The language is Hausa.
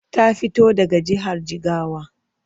Ta fito daga jihar Jigawa.